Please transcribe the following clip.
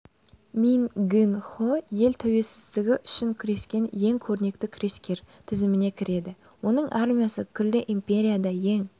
мин гын-хо ел тәуелсіздігі үшін күрескен ең көрнекті күрескер тізіміне кіреді оның армиясы күллі империяда ең